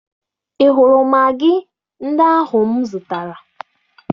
Ị hụrụ magị ndị ahụ m zụtara?